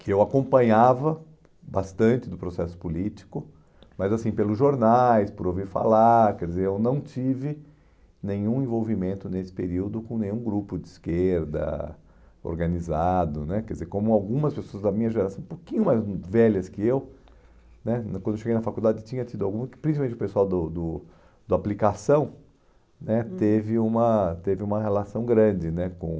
que eu acompanhava bastante do processo político, mas assim, pelos jornais, por ouvir falar, quer dizer, eu não tive nenhum envolvimento nesse período com nenhum grupo de esquerda organizado, né, quer dizer, como algumas pessoas da minha geração, um pouquinho mais velhas que eu, né, quando eu cheguei na faculdade tinha tido algum, principalmente o pessoal do do do aplicação, né, uhum, teve uma teve uma relação grande, né, com...